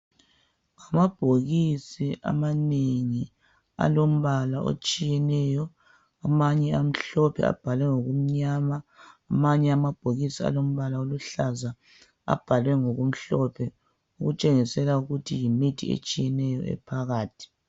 Amabhokisi amanengi alombala otshiyeneyo amanye amhlophe abhalwe ngokumnyama amanye amabhokisi alombala oluhlaza abhalwe ngokumhlophe okutshengisela ukuthi yimithi eyehlukeneyo ephakathi